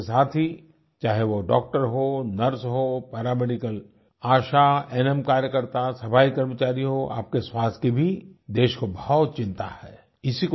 आप जैसे साथी चाहे वो डाक्टर हों नर्स हों paramedical ASHA A N M कार्यकर्ता सफाई कर्मचारी हों आपके स्वास्थ्य की भी देश को बहुत चिंता है